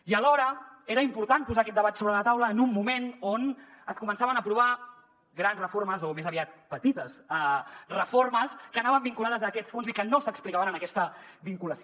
i alhora era important posar aquest debat sobre la taula en un moment on es començaven a aprovar grans reformes o més aviat petites reformes que anaven vinculades a aquests fons i que no s’explicaven en aquesta vinculació